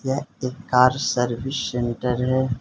यह एक car service centre है।